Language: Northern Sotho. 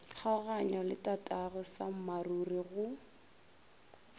kgaoganya le tatagwe sammaruri go